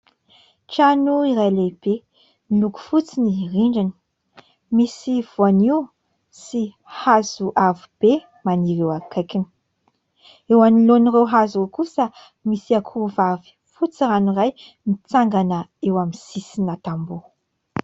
Trano iray lehibe : miloko fotsy ny rindrina, misy voaniho sy hazo avo be maniry eo akaikiny. Eo anoloan'ireo hazo kosa misy akoho vavy fotsy rano iray mitsangana eo amin'ny sisina tamboho.